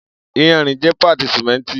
Iyanrin jẹ paati simenti